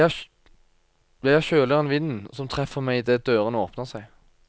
Jeg er kjøligere enn vinden som treffer meg idet dørene åpner seg.